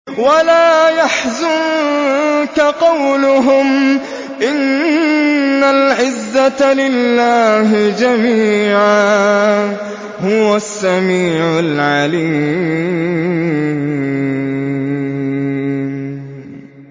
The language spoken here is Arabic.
وَلَا يَحْزُنكَ قَوْلُهُمْ ۘ إِنَّ الْعِزَّةَ لِلَّهِ جَمِيعًا ۚ هُوَ السَّمِيعُ الْعَلِيمُ